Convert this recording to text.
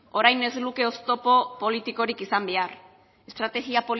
orain ez luke oztopo politikorik izan behar estrategia